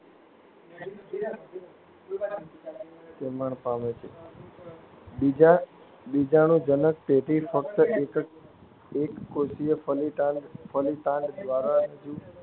બીજાણુજનક પેઢી ફક્ત એકકોષીય ફલિતાંડ દ્વારા